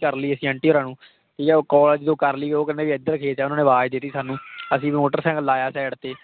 ਕਰ ਲਈ ਅਸੀਂ ਆਂਟੀ ਹੋਰਾਂ ਨੂੰ ਠੀਕ ਹੈ ਉਹ call ਜਦੋਂ ਕਰ ਲਈ ਉਹ ਕਹਿੰਦੇ ਵੀ ਇੱਧਰ ਖੇਤ ਹੈ ਉਹਨਾਂ ਨੇ ਆਵਾਜ਼ ਦਿੱਤੀ ਸਾਨੂੰ ਅਸੀਂ ਵੀ ਮੋਟਰ ਸਾਇਕਲ ਲਾਇਆ side ਤੇ